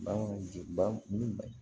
Bagan